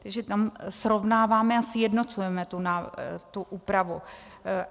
Takže tam srovnáváme a sjednocujeme tu úpravu.